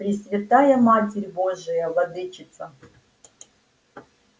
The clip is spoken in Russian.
пресвятая матерь божия владычица